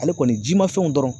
Ale kɔni jima fɛnw dɔrɔn